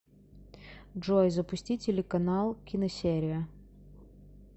джой запусти телеканал киносерия